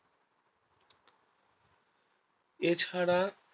এর ছাড়া